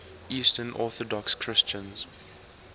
eastern orthodox christians